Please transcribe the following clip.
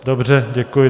Dobře, děkuji.